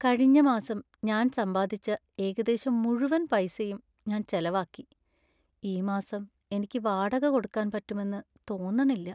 കഴിഞ്ഞ മാസം ഞാൻ സമ്പാദിച്ച ഏകദേശം മുഴുവൻ പൈസയും ഞാൻ ചെലവാക്കി. ഈ മാസം എനിക്ക് വാടക കൊടുക്കാൻ പറ്റുമെന്ന് തോന്നണില്ല.